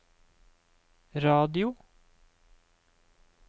radio